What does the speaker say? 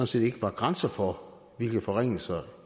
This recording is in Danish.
set ikke var grænser for hvilke forringelser